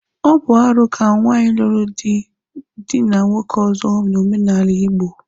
Ọ bụ arụ ka nwaanyị lụrụ di dịna nwoke ọzọ n'omenala Igbo.